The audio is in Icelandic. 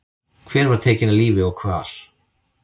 Hver var tekin af lífi og hvar?